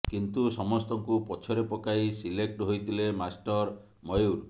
କିନ୍ତୁ ସମସ୍ତଙ୍କୁ ପଛରେ ପକାଇ ସିଲେକ୍ଟ ହୋଇଥିଲେ ମାଷ୍ଟର ମୟୁର